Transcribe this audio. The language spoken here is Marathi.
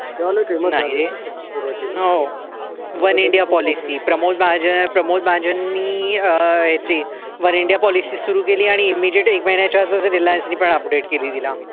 One India policy Pramod Mahajan Pramod महाजनी अं ह्याची वन इंडिया पॉलिसी सुरू केली आणि इमिजेट एक महिन्याच्या आत मध्ये रिलायन्सने पण अपडेट केली तिला.